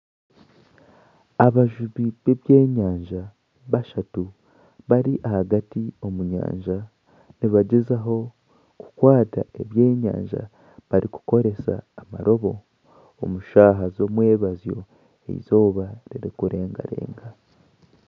Abajubi b'ebyenyanja bashatu bari ahagati omu nyanja nibagyezaho kukwata ebyenyanja barikukoresa amarobo omu shaaha z'omwebazyo izooba riri kurengarenga.